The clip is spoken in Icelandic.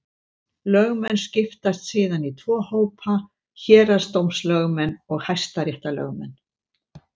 Lögmenn skiptast síðan í tvo hópa: Héraðsdómslögmenn og hæstaréttarlögmenn.